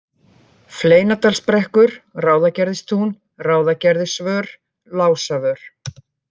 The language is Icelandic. Fleinadalsbrekkur, Ráðagerðistún, Ráðagerðisvör, Lásavör